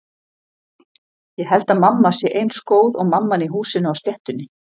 Ég held að mamma sé eins góð og mamman í Húsinu á sléttunni.